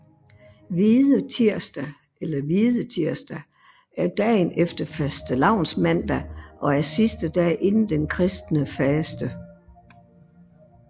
Hvide tirsdag eller Hvidetirsdag er dagen efter fastelavnsmandag og er sidste dag inden den kristne faste